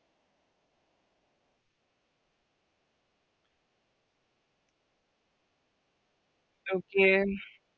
Okay